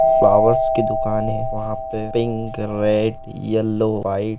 flowers की दुकान है वहाँ पे पिंक रेड येलो व्हाइट --